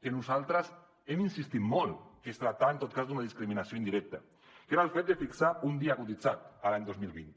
que nosaltres hem insistit molt que es tractava en tot cas d’una discriminació indirecta que era el fet de fixar un dia cotitzat l’any dos mil vint